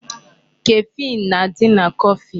Caffeine na-adị na coffee.